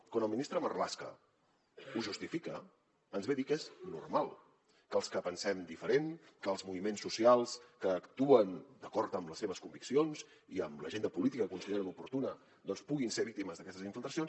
quan el ministre marlaska ho justifica ens ve a dir que és normal que els que pensem diferent que els moviments socials que actuen d’acord amb les seves conviccions i amb l’agenda política que consideren oportuna puguin ser víctimes d’aquestes infiltracions